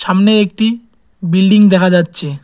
সামনে একটি বিল্ডিং দেখা যাচ্ছে।